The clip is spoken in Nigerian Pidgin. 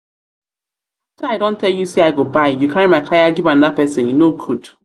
after i don tell you say i go buy you carry my kaya give another person e no good.